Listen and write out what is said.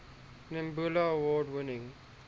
nebula award winning